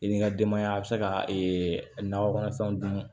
I ni ka denbaya a bɛ se ka nakɔ kɔnɔfɛnw dun